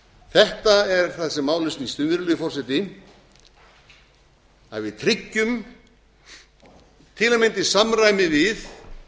þetta er það sem málið snýst um virðulegi forseti að við tryggjum til að mynda í samræmi við